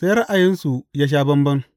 Sai ra’ayinsu ya sha bamban.